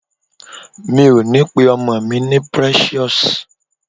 Mi ò ní pe ọmọ mi ní Precious